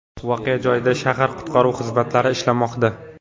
Voqea joyida shahar qutqaruv xizmatlari ishlamoqda.